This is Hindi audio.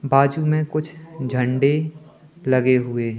बाजू में कुछ झंडे लगे हुए--